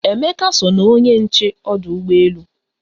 Emeka so na onye nche ọdụ ụgbọ elu